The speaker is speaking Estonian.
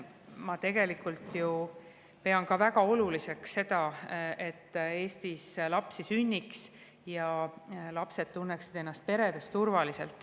Ma tegelikult ju pean ka väga oluliseks seda, et Eestis lapsi sünniks ja lapsed tunneksid ennast peredes turvaliselt.